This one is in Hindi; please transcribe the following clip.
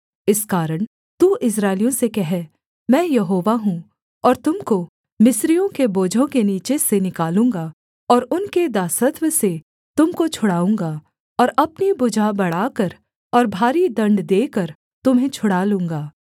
इस कारण तू इस्राएलियों से कह मैं यहोवा हूँ और तुम को मिस्रियों के बोझों के नीचे से निकालूँगा और उनके दासत्व से तुम को छुड़ाऊँगा और अपनी भुजा बढ़ाकर और भारी दण्ड देकर तुम्हें छुड़ा लूँगा